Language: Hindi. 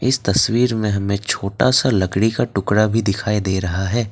इस तस्वीर में हमें छोटा सा लकड़ी का टुकड़ा भी दिखाई दे रहा है।